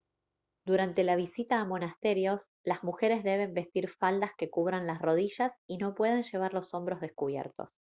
durante la visita a monasterios las mujeres deben vestir faldas que cubran las rodillas y no pueden llevar los hombros descubiertos